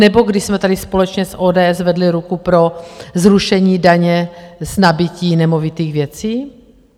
Nebo když jsme tady společně s ODS zvedli ruku pro zrušení daně z nabytí nemovitých věcí?